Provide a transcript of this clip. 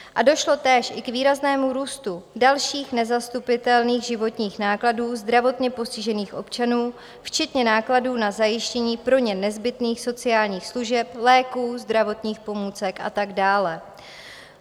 A došlo též i k výraznému růstu dalších nezastupitelných životních nákladů zdravotně postižených občanů, včetně nákladů na zajištění pro ně nezbytných sociálních služeb, léků, zdravotních pomůcek a tak dále.